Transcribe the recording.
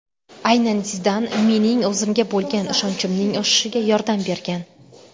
Aynan Zidan mening o‘zimga bo‘lgan ishonchimning oshishiga yordam bergan”.